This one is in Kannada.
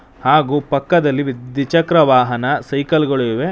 ಹಾಗೂ ಪಕ್ಕದಲ್ಲಿ ವಿದ್-ದ್ವಿಚಕ್ರ ವಾಹನ ಸೈಕಲ್ ಗಳು ಇವೆ.